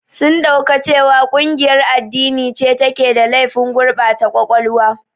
Sun ɗauka cewa ƙungiyar addini ce take da laifin gurbata ƙwaƙwalwa.